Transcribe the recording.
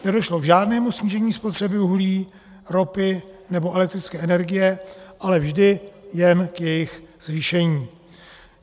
Nedošlo k žádnému snížení spotřeby uhlí, ropy nebo elektrické energie, ale vždy jen k jejich zvýšení.